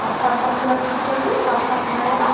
purple colour की भी जल रही है रात का समय हो रहा--